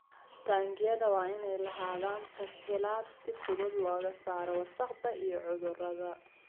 Taangiyada waa inay lahaadaan tas-hiilaad si fudud looga saaro wasakhda iyo cudurrada.